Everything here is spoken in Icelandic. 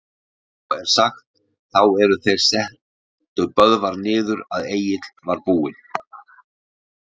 En svo er sagt, þá er þeir settu Böðvar niður, að Egill var búinn